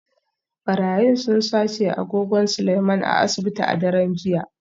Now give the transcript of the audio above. Barayin sun sace agogon Seleiman a asibiti a daren jiya